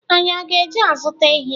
Anyị ọ ga-eje azuta ehi?